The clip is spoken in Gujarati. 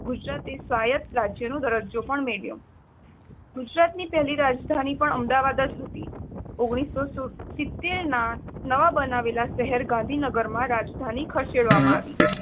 ગુજરાતે સ્વાયત રાજ્યનો દરજ્જો પણ મેળવ્યો ગુજરાતની પહેલી રાજધાની અમદાવાદ હતી. ઓગણીસો સીતેર ના નવા બનાવેલા શહેર ગાંધીનગરમાં રાજધાની ખસેડવામાં આવી.